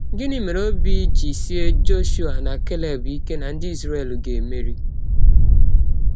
Gịnị mere ọbi ji sịe Jọshụa na Keleb ike na ndị Izrel ga - emeri?